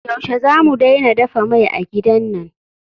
Yaushe zamu daina dafa mai a gidan nan?